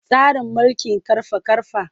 Tsarin mulkin ƙarfa-ƙarfa.